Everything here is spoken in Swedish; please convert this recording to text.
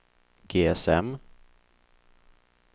GSM